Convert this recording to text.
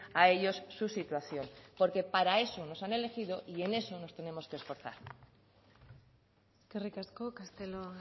a ellos su situación porque para eso nos han elegido y en eso nos tenemos que esforzar eskerrik asko castelo